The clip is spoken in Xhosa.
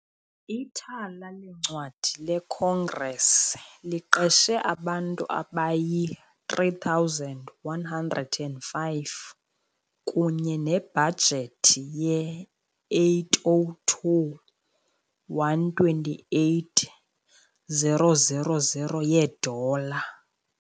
Ithala leencwadi leCongress liqeshe abantu abayi-3,105, kunye nebhajethi ye-802,128,000 yeedola .